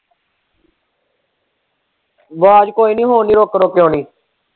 ਆਵਾਜ਼ ਕੋਈ ਨੀ ਹੁਣ ਨੀ ਰੁੱਕ-ਰੁੱਕ ਕੇ ਆਉਣੀ।